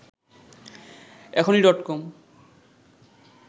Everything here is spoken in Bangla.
এখনি ডট কম